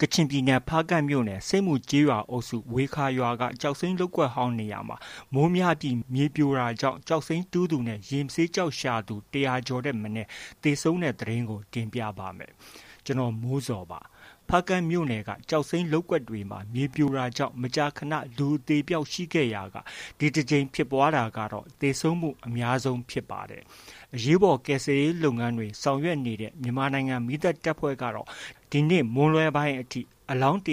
ကချင်ပြည်နယ် ဖားကန့်မြို့နယ် ဆိပ်မူကျေးရွာအုပ်စု ဝေခါရွာက ကျောက်စိမ်းလုပ်ကွက်ဟောင်းနေရာမှာ မိုးများပြီး မြေပြိုတာကြောင့် ကျောက်တူးသူနဲ့ ရေမဆေးကျောက်ရှာသူ ၁၀၀ ကျော်ထက်မနည်း သေဆုံးတဲ့သတင်းကို ဗွီအိုအေမြန်မာပိုင်းသတင်းထောက် ကိုမိုးဇော်က တင်ပြပေးပါမယ်။ ဖားကန့်မြို့နယ်က ကျောက်စိမ်းလုပ်ကွက်တွေမှာ မြေပြိုတာကြောင့် မကြာခဏ လူအသေအပျောက်ရှိခဲ့ရာက ဒီတစ်ကြိမ်ဖြစ်ပွားတာကတော့ သေဆုံးမှုအများဆုံးဖြစ်ပါတယ်။ အရေးပေါ် ကယ်ဆယ်ရေးလုပ်ငန်းတွေ ဆောင်ရွက်နေတဲ့ မြန်မာနိုင်ငံ မီးသတ်တပ်ဖွဲ့ကတော့ ဒီနေ့မွန်းလွဲပိုင်းအထိ အလောင်း ၁၁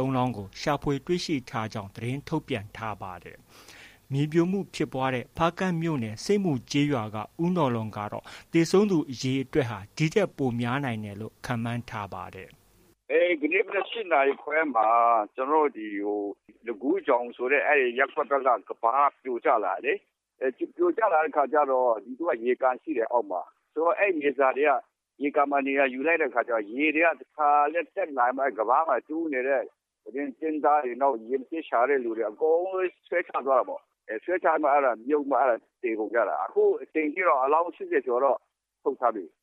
၃ လောင်းကို ရှာဖွေတွေ့ရှိထားကြောင်း သတင်းထုတ်ပြန်ထားပါတယ်။ မြေပြိုမှုဖြစ်ပွားခဲ့တဲ့ ဖားကန့်မြို့နယ် ဆိပ်မူရွာက ဦးနော်လွန်ကတော့ သေဆုံးသူအရေအတွက်ဟာ ဒီထက်ပိုများနိုင်တယ်လို့ ခန့်မှန်းထားကြောင်း ပြောပါတယ်။ “ဒီကနေ့ မနက် ၈ နာရီခွဲမှာ ကျနော်တို့ ဒီ လခူးချောင်ဆိုတဲ့ ရပ်ကွက်ဘက်က ကမ်းပါးပြိုကျလာတာလေ။ ပြိုကျလာတဲ့အခါကျတော့ ရေကန်ရှိတယ် အောက်မှာ။ အဲဒီမြေစာတွေက ရေကန်မှာ နေရာယူလိုက်တဲ့အခါကျတော့ ရေက တခါတည်းတက်လာပြီးတော့ အဲဒီ ကမ်းပါးမှာ ကျင်းသားတွေ၊ ရေမဆေးကျောက်ရှာသူတွေ အကုန်လုံး ဆွဲချသွားတာပေါ့။ ဆွဲချပြီးမှ မြုပ်ပြီးမှ သေကုန်ကြတာ။ အခုချိန်ထိတော့ အလောင်း ၈၀ ကျော်တော့ ထုတ်ထားပြီ။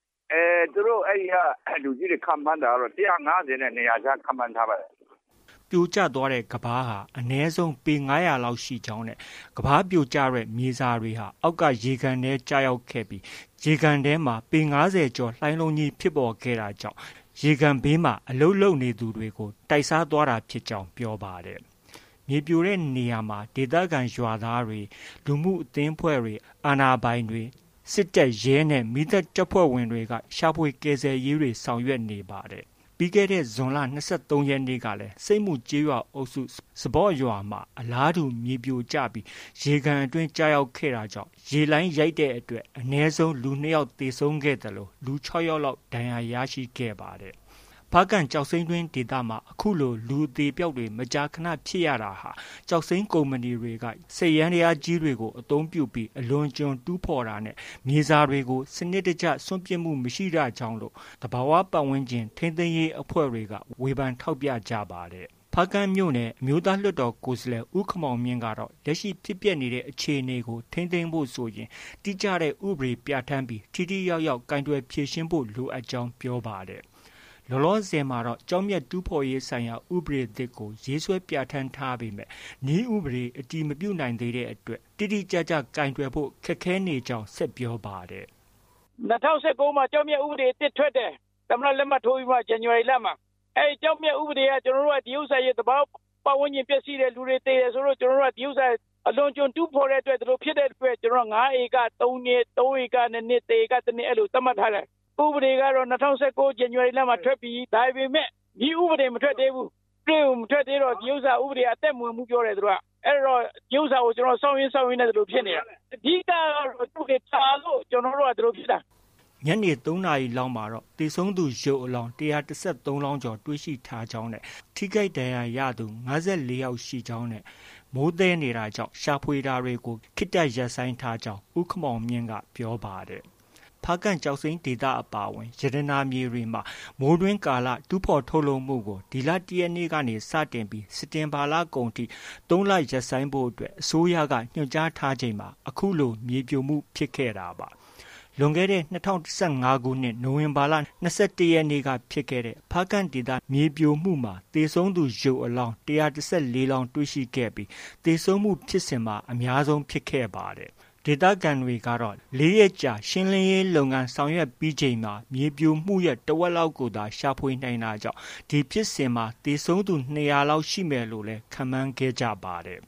သူတို့ အဲဒီက လူကြီးတွေ ခန့်မှန်းတာကတော့ ၁၅၀နဲ့ ၂၀၀ ကြား ခန့်မှန်းထားပါတယ်။” ပြိုကျသွားတဲ့ကမ်းပါးဟာ အနည်းဆုံး ပေ ၅၀၀ ကျော်လောက်ရှိကြောင်းနဲ့ ကမ်းပါးပြိုကျတဲ့ မြေစာတွေဟာ အောက်က ရေကန်ထဲကျရောက်ပြီး ရေကန်ထဲမှာ ပေ ၅၀ ကျော်လှိုင်းလုံးဖြစ်ပေါ်ခဲ့တာကြောင့် ရေကန်ဘေးမှာ အလုပ်လုပ်နေသူတွေကို တိုက်စားသွားတာဖြစ်ကြောင်း ပြောပါတယ်။ မြေပြိုကျတဲ့နေရာမှာ ဒေသခံရွာသားတွေ၊ လူမှုအသင်းအဖွဲ့တွေ၊ အာဏာပိုင်တွေ၊ တပ်၊ရဲနဲ့ မီးသတ်တပ်ဖွဲ့ဝင်တွေက ရှာဖွေကယ်ဆယ်ရေးဆောင်ရွက်နေပါတယ်။ ပြီးခဲ့တဲ့ ဇွန်လ ၂၃ ရက်နေ့ကလည်း ဆိတ်မူကျေးရွာအုပ်စု၊ စပေါ့ရွာမှာ အလားတူမြေပြိုကျပြီး ရေကန်အတွင်းကျခဲ့ရာက ရေလှိုင်းရိုက်တဲ့အတွက် အနည်းဆုံး လူ၂ ယောက် သေဆုံးခဲ့သလို လူ ၆ ယောက်လောက် ထိခိုက်ဒဏ်ရာရခဲ့ပါတယ်။ ဖားကန့်ကျောက်စိမ်းတွင်း ဒေသမှာ အခုလို လူအသေအပျောက်တွေ မကြာခဏ ဖြစ်ရတာဟာ ကျောက်စိမ်းကုမ္ပဏီတွေက စက်ယန္တရားတွေ အသုံးပြုပြီး အလွန်အကျွံ တူးဖော်တာနဲ့ မြေစာတွေကို စနစ်တကျ စွန့်ပစ်မှုမရှိတာကြောင့်လို့ သဘာဝပတ်ဝန်းကျင် ထိန်းသိမ်းရေးအဖွဲ့တွေက ဝေဖန်ထောက်ပြကြပါတယ်။ ဖားကန့်မြို့နယ် အမျိုးသားလွှတ်တော်ကိုယ်စားလှယ် ဦးခင်မောင်မြင့်ကတော့ လက်ရှိ ဖြစ်ပျက်နေတဲ့အခြေအနေကို ထိန်းသိမ်းဖို့ဆိုရင် တိကျတဲ့ ဥပဒေပြဌာန်းပြီး ထိထိရောက်ရောက် ကိုင်တွယ်ဖြေရှင်းဖို့ လိုအပ်ကြောင်း ပြောပါတယ်။ လောလောဆယ်မှာတော့ ကျောက်မျက်တူးဖော်ရေးဆိုင်ရာ ဥပဒေသစ်ကို ရေးဆွဲပြဌာန်းထားပေမဲ့ နည်းဥပဒေ အတည်မပြုနိုင်သေးတဲ့အတွက် တိတိကျကျ ကိုင်တွယ်ဖို့ ခက်ခဲနေကြောင်း ဆက်ပြောပါတယ်။ “၂၀၁၉ မှာ ကျောက်မျက်ဥပဒေသစ်ထွက်တယ်။ ၂၀၁၉ ဇန်နဝါရီလမှာ သမ္မတ လက်မှတ်ထိုးပြီးတော့မှ။ အဲဒီ ကျောက်မျက်ဥပဒေက ဒီဥစ္စာ သဘာဝပတ်ဝန်းကျင် ပျက်ဆီးတယ်၊ လူတွေ သေတယ်ဆိုလို့ ကျနော်တို့က ဒီဥစ္စာ အလွန်အကျွံ တူးဖော်တဲ့အတွက် ဒီလိုဖြစ်တဲ့အတွက် ကျနော်တို့က ၅ ဧက ၃ နှစ်၊ ၃ ဧက ၂ နှစ်၊ ၁ ဧက ၁ နှစ် အဲလို သတ်မှတ်ထားတယ်။ ဥပဒေကတော့ ၂၀၁၉ ဇန်နဝါရီလမှာ ထွက်ပြီ။ ဒါပေမဲ့ နည်းဥပဒေ မထွက်သေးဘူး။ နည်းဥပဒေ မထွက်သေးတော့ ဒီဥစ္စာ အသက်မဝင်ဘူးပြောတယ်။ သူတို့က အဲတော့ ဒီဥစ္စာကို စောင့်ရင်း စောင့်ရင်းနဲ့ ဒီလို ဖြစ်နေတာ။ အဓိကကတော့ နည်းဥပဒေ ကြာလို့ ဒီလိုဖြစ်တာ။” ညနေ ၃ နာရီလောက်မှာ သေဆုံးသူရုပ်အလောင်း ၁၁၃ ကျော်တွေ့ရှိထားကြောင်း၊ ထိခိုက်ဒဏ်ရာရသူ ၅၄ ယောက်ရှိကြောင်းနဲ့ မိုးသည်းနေတာကြောင့် ရှာဖွေတာတွေ ခေတ္တရပ်နေကြောင်း ဦးခင်မောင်မြင့်က ပြောပါတယ်။ ဖားကန့်ကျောက်စိမ်းဒေသအပါအဝင် ရတနာမြေတွေမှာ မိုးတွင်းကာလ တူးဖော် ထုတ်လုပ်မှုကို ဒီလ ၁ ရက်နေ့ကနေ စတင်ပြီး စက်တင်ဘာလကုန်အထိ ၃ လ ရပ်ဆိုင်းဖို့ အစိုးရက ညွှန်ကြားထားချိန်မှာ အခုလို မြေပြိုမှုဖြစ်ခဲ့တာပါ။ လွန်ခဲ့တဲ့ ၂၀၁၅ ခုနှစ် နိုဝင်ဘာ ၂၁ ရက်နေ့က ဖြစ်ခဲ့တဲ့ ဖားကန့်ဒေသ မြေပြိုမှုမှာ သေဆုံးသူ ရုပ်အလောင်း ၁၁၄ လောင်းတွေ့ရှိခဲ့ပြီး သေဆုံးမှုဖြစ်စဉ်မှာ အများဆုံးဖြစ်ခဲ့ပါတယ်။ ဒေသခံတွေကတော့ ၄ ရက်ကြာ ရှင်းလင်းရေးလုပ်ငန်းဆောင်ရွက်ပြီးချိန်မှာ မြေပြိုမှုရဲ့ တဝက်လောက်ကိုသာ ရှာဖွေနိုင်တာကြောင့် အဲဒီဖြစ်စဉ်မှာ သေဆုံးသူ ၂၀၀ လောက်ရှိမယ်လို့လည်း ခန့်မှန်းခဲ့ပါတယ်